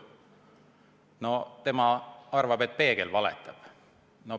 No tema arvab, et peegel valetab.